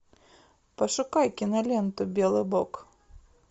пошукай киноленту белый бог